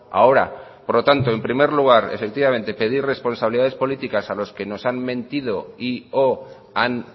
ahora por lo tanto en primer lugar efectivamente pedir responsabilidades políticas a quienes nos han mentido y o han